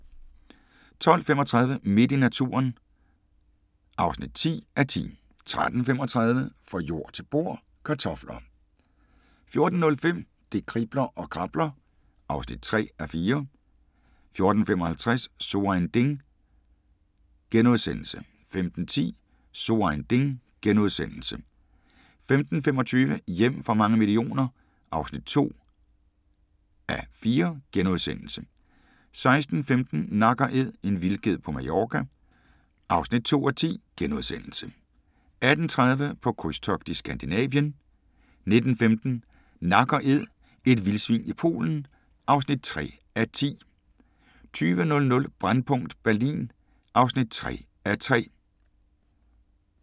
12:35: Midt i naturen (10:10) 13:35: Fra jord til bord: Kartofler 14:05: Det kribler og krabler (3:4) 14:55: So ein Ding * 15:10: So ein Ding * 15:25: Hjem for mange millioner (2:4)* 16:15: Nak & Æd – en vildged på Mallorca (2:10)* 18:30: På krydstogt i Skandinavien 19:15: Nak & Æd – et vildsvin i Polen (3:10) 20:00: Brændpunkt Berlin (3:3)